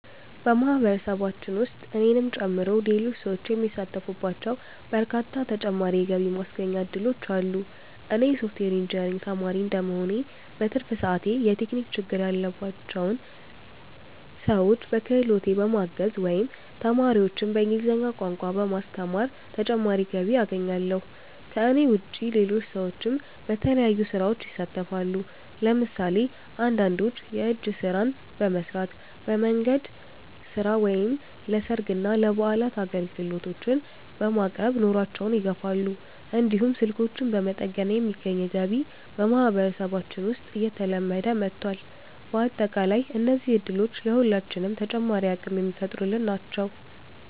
በማህበረሰባችን ውስጥ እኔንም ጨምሮ ሌሎች ሰዎች የሚሳተፉባቸው በርካታ ተጨማሪ የገቢ ማስገኛ እድሎች አሉ። እኔ የሶፍትዌር ኢንጂነሪንግ ተማሪ እንደመሆኔ፣ በትርፍ ሰዓቴ የቴክኒክ ችግር ያለባቸውን ሰዎች በክህሎቴ በማገዝ ወይም ተማሪዎችን በእንግሊዝኛ ቋንቋ በማስተማር ተጨማሪ ገቢ አገኛለሁ። ከእኔ ውጭ ሌሎች ሰዎችም በተለያዩ ስራዎች ይሳተፋሉ። ለምሳሌ አንዳንዶች የእጅ ስራዎችን በመስራት፣ በንግድ ስራ ወይም ለሰርግና ለበዓላት አገልግሎቶችን በማቅረብ ኑሯቸውን ይደግፋሉ። እንዲሁም ስልኮችን በመጠገን የሚገኝ ገቢ በማህበረሰባችን ውስጥ እየተለመደ መጥቷል። በአጠቃላይ እነዚህ እድሎች ለሁላችንም ተጨማሪ አቅም የሚፈጥሩልን ናቸው።